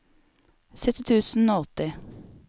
sytti tusen og åtti